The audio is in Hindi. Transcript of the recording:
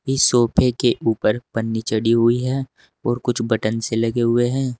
इस सोफे के ऊपर पन्नी चढ़ी हुई है और कुछ बटन से लगे हुए हैं।